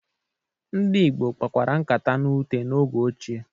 Ndị Igbo kpakwara nkata na ute n'oge ochie.